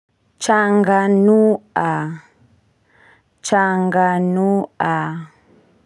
Changanua changanua.